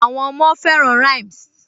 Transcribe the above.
Àwọn ọmọ fẹràn rhymes